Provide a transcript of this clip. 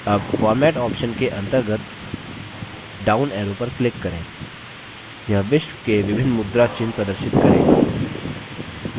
अब format option के अंतर्गत down arrow पर click करें यह विश्व के विभिन्न मुद्रा चिन्ह प्रदर्शित करेगा